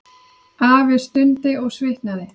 Afi stundi og svitnaði.